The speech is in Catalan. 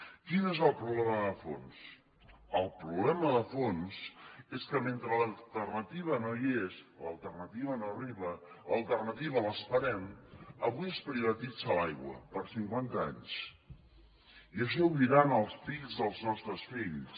quin és el problema de fons el problema de fons és que mentre l’alternativa no hi és l’alternativa no arriba l’alternativa l’esperem avui es privatitza l’aigua per cinquanta anys i això ho viuran els fills dels nostres fills